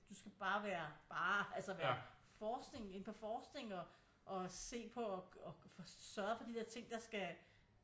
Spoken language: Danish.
Du skal bare være bare altså være forskning inden for forskning og se på og sørge for de der ting der skal